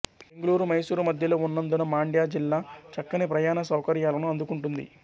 బెంగుళూరు మైసూరు మద్యలో ఉన్నందున మాండ్య జిల్లా చక్కని ప్రయాణ సౌకర్యాలను అందుకుంటుంది